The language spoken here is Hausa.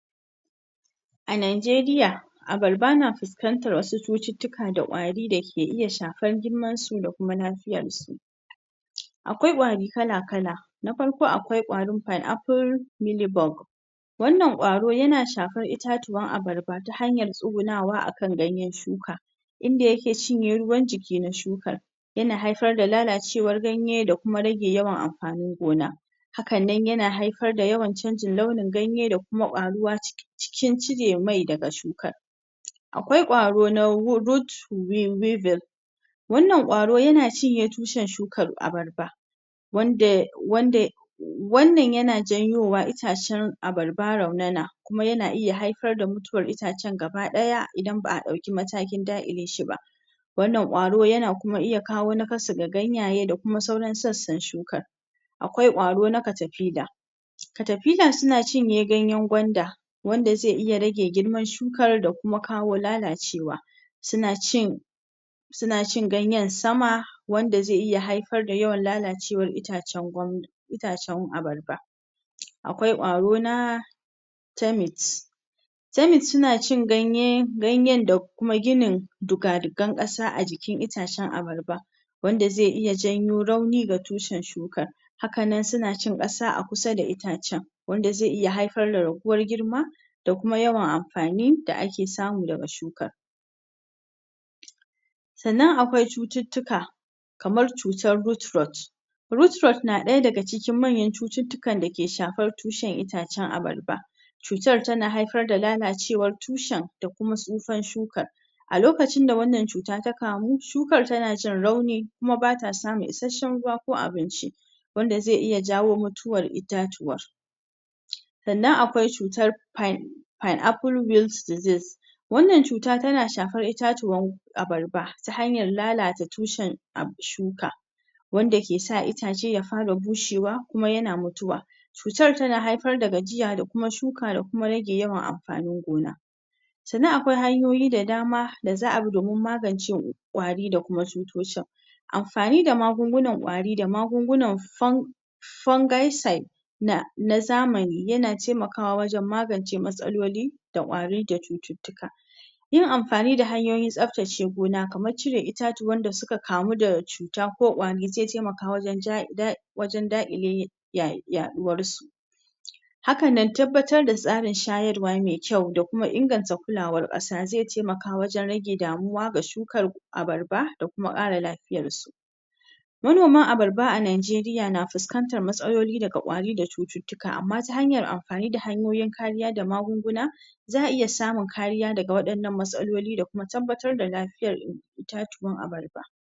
A Najeriya abarba na fiskantar wasu cututtuka da kwari dai ke iya shafan girmansu da kuma liyar su akwai kwari kala kal na farko akwai kwarin fan'aful milibok [pineapple mealbog] wannan kwaro yana shafan itatuwan abarba ta hanyar tsugunawa a ganyan shuka inda ya ke cinye ruwan jiki na shuar yana haifar da lala cewar ganye da kuma rage yawan amfanin gona hakannan yana haifar da yawan canjin launin ganye da kuma kwaruwa cikin cire mai daga shukar akwai karo na rot wail [root wuveil] wannan kwro yana cinye tushan shukan abarba wanda wanda wannan yana janyowa itacen abarba ya raunana kuma yana iya haifar da mutuwar itacen gabadaya idan ba a dauki matakin dakile shi ba wannan karo yana iya kuma kawo nakasu ga ganyaye da kuma sauran sassan shukan a kwai kwaro na katafila katafila [ctappila] suna ciye ganyan gwanda wanda zai iya rage girman shukar ya kuma kawo lalacewa suna cin ganyen sama wanda zai iya haifar da yawan lalacewar iitacen, itacen abarba akwai kwaro na tai mis temis suna cun danya, ganyan da kuma ginin duga-dugan kasa a jikin itacen abarba wanda zai iya janyo rauni ga tushen shukar haka nan suna cin kasa a kusa da itacen wanda zai iya haifar da raguwar girma da kuma yawan amfani da ake samu daga shukar sannan akwai cututtuka kamar cutar rutrot [root-rot] rut rot [root-rot ] na daya daga cikin manyan cututtuka da ke shafan tushen icen abarba cutar tana haifar da lalacewar tushen da kuma sufar shukar a lokacin da wannan cuta ta kamu shukar tana jin rawni kuma ba ta samun isashshen ruwa ko abinci wannan zai iya jawo mutuwar itacuwa sannan akwai cutar pen'afui rildiziz [Pinapple reals diseas] wannan cuta tana shafar itatuwar abarba ta hanyar lalata tushen shuka wanda ke sa itace ya fara bushewa kuma ya fara mutuwa cutar tana haifar da gajiya da kuma shuka da kuma rage amfanin gona sannan akwai hanyoyi da dama da za a bi domin madance kwari da kuma tsutsotsin amfani da magun-gunan kwari da magun-guna fungal saiyda rungal said [fungya side] na zamani yana temakawa wajan magance matsaloli da kwari da cututtuka yin amfani da hanyoyin staftace gona kamar cire itatuwar da suka kamu da cuta ko kwari zai temaka wajan jaye dakile yaduwar su hakanan tabbatar da tsarin shayarwa mai kyau da kuma inganta kula kulawar kasa zai temaka wajan rage damuwa ga shukar abarba da kuma kara da kuma kara lafiyar shi manoman abarba a Najeriya na fiskantar matsaloli daga kwari da cututtuk amma ta hanyar amfani da hanyoyin kariya ta amfani da magunguna za a iya samun kariya daga wannan matsaloli da kuma tabbatar da lafiyan itatuwan abarba